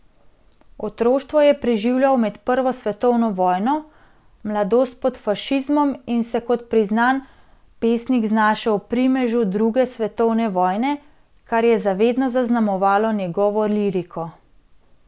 Otroštvo je preživljal med prvo svetovno vojno, mladost pod fašizmom in se kot priznan pesnik znašel v primežu druge svetovne vojne, kar je za vedno zaznamovalo njegovo liriko.